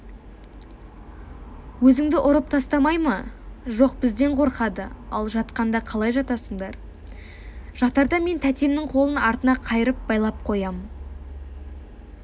өзіңді ұрып тастамай ма жоқ бізден қорқады ал жатқанда қалай жатасыңдар жатарда мен тәтемнің қолын артына қайырып байлап қоям